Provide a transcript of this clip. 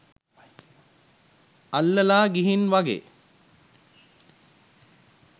අල්ලලා ගිහින් වගේ.